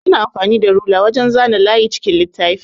Ana amfanin da rula wajan zana layi a cikin littafi.